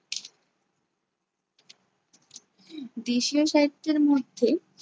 দেশীয় সাহিত্যের মধ্যে